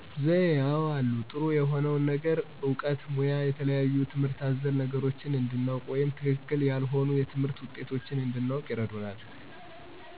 ዘዬ አወ አሉ። ጥሩ የሆነውን ነገር እውቀት ሙያ የተለያዩ ትምህርት አዘል ነገሮችን እንድናውቅ ወይም ትክክል ያልሆኑ የትምህርት ውጤቶች እንድናውቅ ይረዱናል።